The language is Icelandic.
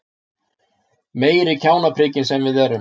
Meiri kjánaprikin sem við erum!